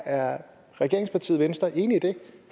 er regeringspartiet venstre enig i det